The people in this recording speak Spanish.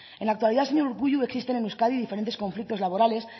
en la actualidad señor urkullu existen en euskadi diferentes conflictos laborales